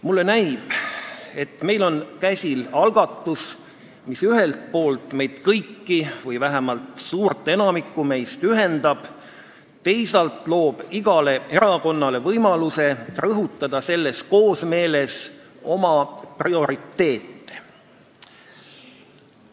Mulle näib, et meil on käsil algatus, mis ühelt poolt meid kõiki – või vähemalt enamikku meist – ühendab, teisalt aga loob igale erakonnale võimaluse rõhutada selles koosmeeles oma prioriteete.